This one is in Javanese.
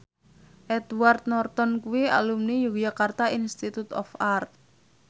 Edward Norton kuwi alumni Yogyakarta Institute of Art